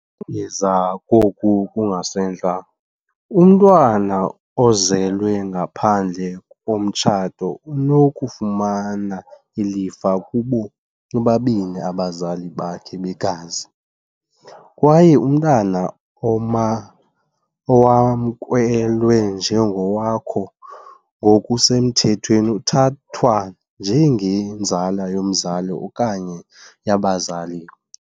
ngeza koku kungasentla, umntwana ozelwe ngaphandle komtshato unokufumana ilifa kubo bobabini abazali bakhe begazi, kwaye umntwana oma owamkelwe njengowakho ngokusemthethweni uthathwa njengenzala yomzali okanye yabazali.